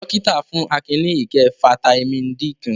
Dọ́kítá fún Akin ní ike fataímìn D kan.